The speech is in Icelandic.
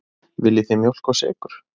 Viljið þið mjólk og sykur?